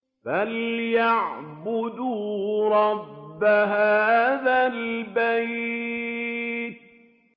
فَلْيَعْبُدُوا رَبَّ هَٰذَا الْبَيْتِ